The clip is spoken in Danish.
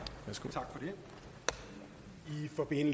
tak